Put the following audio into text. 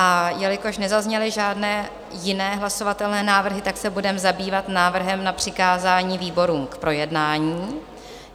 A jelikož nezazněly žádné jiné hlasovatelné návrhy, tak se budeme zabývat návrhem na přikázání výborům k projednání.